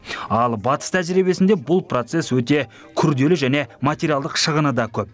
ал батыс тәжірибесінде бұл процесс өте күрделі және материалдық шығыны да көп